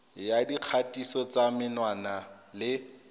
ya dikgatiso tsa menwana le